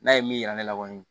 N'a ye min yira ne la kɔni